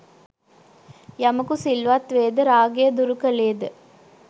යමකු සිල්වත් වේද, රාගය දුරු කළේද